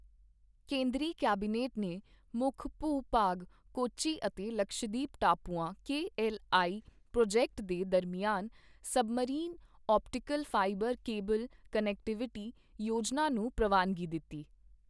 ਕੇਂਦਰੀ ਕੈਬਨਿਟ ਨੇ ਮੁੱਖ ਭੂ ਭਾਗ ਕੋਚੀ ਅਤੇ ਲਕਸ਼ਦ੍ਵੀਪ ਟਾਪੂਆਂ ਕੇਐੱਲਆਈ ਪ੍ਰੋਜੈਕਟ ਦੇ ਦਰਮਿਆਨ submarine optical fibre cable connectivity ਯੋਜਨਾ ਨੂੰ ਪ੍ਰਵਾਨਗੀ ਦਿੱਤੀ